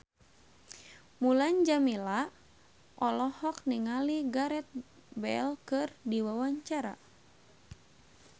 Mulan Jameela olohok ningali Gareth Bale keur diwawancara